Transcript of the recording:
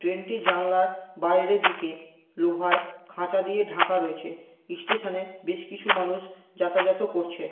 Train টি জানলার বাইরের দিকে লোহার খাঁচা দিয়ে ঢাকা রয়েছে। স্টেশনে বেশ কিছু মানুষ যাতায়াত ও করছে--